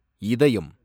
இதயம்